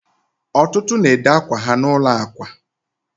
ọtụtụ na-ede akwa ha n'ụlọ akwa